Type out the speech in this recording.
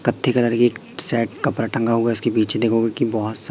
कत्थी कलर की एक शर्ट कपड़ा टंगा हुआ इसके पीछे देखोगे की बहोत सा--